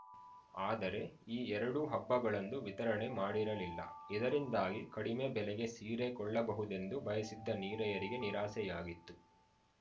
ಆದರೆ ಈ ಎರಡೂ ಹಬ್ಬಗಳಂದು ವಿತರಣೆ ಮಾಡಿರಲಿಲ್ಲ ಇದರಿಂದಾಗಿ ಕಡಿಮೆ ಬೆಲೆಗೆ ಸೀರೆ ಕೊಳ್ಳಬಹುದೆಂದು ಬಯಸಿದ್ದ ನೀರೆಯರಿಗೆ ನಿರಾಸೆಯಾಗಿತ್ತು